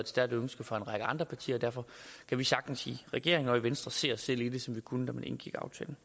stærkt ønske fra en række andre partier derfor kan vi sagtens i regeringen og i venstre se os selv i det ligesom vi kunne da aftalen